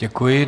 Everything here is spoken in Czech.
Děkuji.